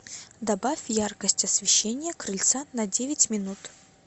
добавь яркость освещения крыльца на девять минут